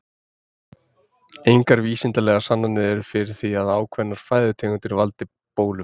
Engar vísindalegar sannanir eru fyrir því að ákveðnar fæðutegundir valdi bólum.